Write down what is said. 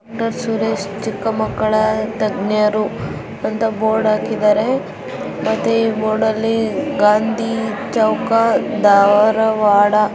ಡಾ ಸುರೇಶ ಚಿಕ್ಕ ಮಕ್ಕಳ ತಜ್ಞರು ಅಂತಾ ಬೋರ್ಡು ಹಾಕಿದ್ದಾರೆ ಅದೇ ಬೋರ್ಡ್ ಅಲ್ಲಿ ಗಾಂಧಿ ಚೌಕ್ ದಾರವಾಡ --